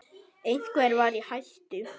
Einhver var í hættu.